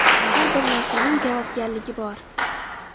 Har bir narsaning javobgarligi bor.